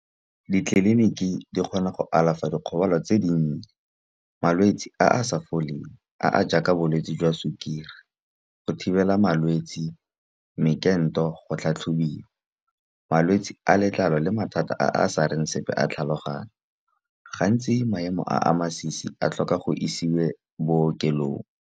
Ditleliniki di kgona go alafa dikgobalo tse dinnye, malwetsi a a sa foleng a a jaaka bolwetsi jwa sukiri. Go thibela malwetsi mekento go tlhatlhobiwa, malwetsi a letlalo le mathata a a sareng sepe a tlhaloganyo, gantsi maemo a a masisi a tlhoka go isiwe bookelong.